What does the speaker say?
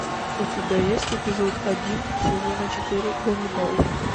у тебя есть эпизод один сезона четыре ганнибал